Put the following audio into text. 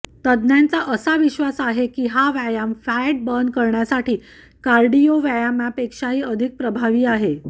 तज्ञांचा असा विश्वास आहे की हा व्यायाम फॅट बर्न करण्यासाठी कार्डिओ व्यायामापेक्षाही अधिक प्रभावी आहे